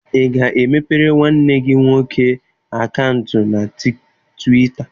Ị ga-emepere nwanne gị nwoke akaụntụ na Twịta?